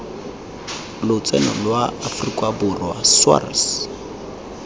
lotseno lwa aforika borwa sars